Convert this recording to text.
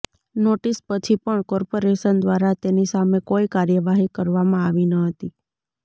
notice પછી પણ corporation દ્વારા તેની સામે કોઈ કાર્યવાહી કરવામાં આવી ન હતી